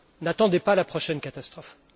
N'attendez pas la prochaine catastrophe!